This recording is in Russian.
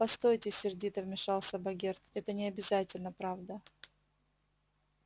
постойте сердито вмешался богерт это не обязательно правда